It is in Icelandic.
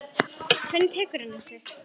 Hvernig tekur hann þessu?